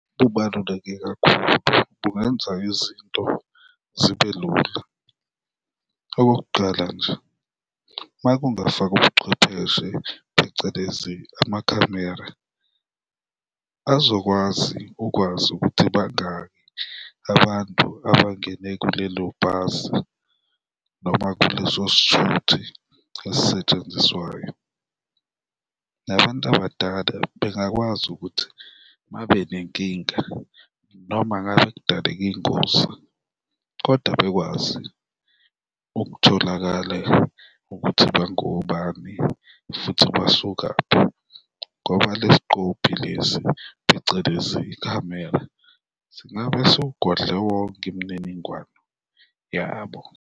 Kubaluleke kakhulu, kungenza izinto zibe lula. Okokuqala nje, ma kungafakwa ubuchwepheshe, phecelezi amakhamera, azokwazi ukwazi ukuthi bangaki abantu abangene kulelo bhasi noma kuleso sithuthi esisetshenziswayo nabantu abadala bengakwazi ukuthi babe nenkinga, noma ngabe kudaleka ingozi kodwa bekwazi ukutholakala ukuthi bangobani futhi basukaphi ngoba le sgqobhi lesi, phecelezi ikhamera, singabe siwugodle wonke imininingwane yabo.